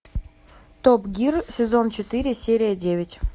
топ гир сезон четыре серия девять